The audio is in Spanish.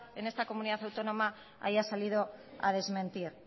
en esta comunidad autónoma haya salido a desmentir